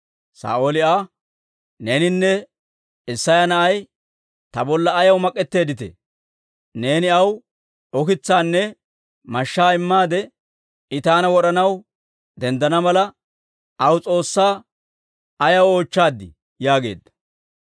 Saa'ooli Aa, «Neeninne Isseya na'ay ta bolla ayaw mak'etteeddite? Neeni aw ukitsaanne mashshaa immaade, I taana wod'anaw denddana mala, aw S'oossaa ayaw oochchaaddii?» yaageedda.